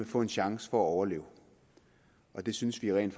får en chance for at overleve og det synes vi rent